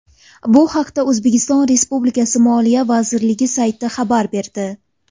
Bu haqda O‘zbekiston Respublikasi Moliya vazirligi sayti xabar berdi .